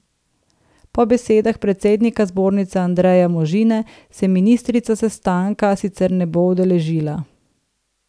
Po besedah predsednika zbornice Andreja Možine se ministrica sestanka sicer ne bo udeležila.